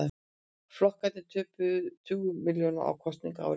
Flokkarnir töpuðu tugum milljóna á kosningaári